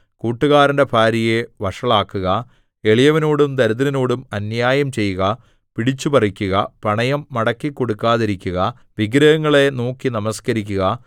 കൂട്ടുകാരന്റെ ഭാര്യയെ വഷളാക്കുക എളിയവനോടും ദരിദ്രനോടും അന്യായം ചെയ്യുക പിടിച്ചുപറിക്കുക പണയം മടക്കിക്കൊടുക്കാതിരിക്കുക വിഗ്രഹങ്ങളെ നോക്കി നമസ്കരിക്കുക